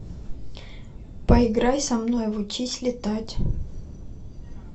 поиграй со мной в учись летать